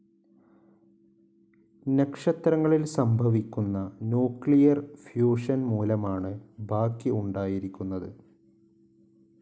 നക്ഷത്രങ്ങളിൽ സംഭവിക്കുന്ന nuclear fusion മൂലമാണ് ബാക്കി ഉണ്ടായിരിക്കുന്നത്.